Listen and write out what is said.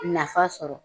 Nafa sɔrɔ